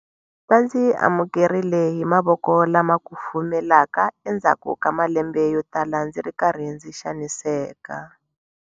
"Va ndzi amukerile hi mavoko lama kufumelaka endzhaku ka malembe yotala ndzi ri karhi ndzi xaniseka."